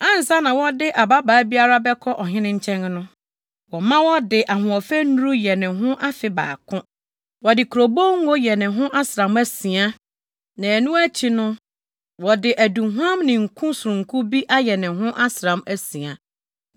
Ansa na wɔde ababaa biara bɛkɔ ɔhene nkyɛn no, wɔma ɔde ahoɔfɛ nnuru yɛ ne ho afe baako. Wɔde kurobow ngo yɛ ne ho asram asia na ɛno akyi no wɔde aduhuam ne nkum sononko bi ayɛ ne ho asram asia.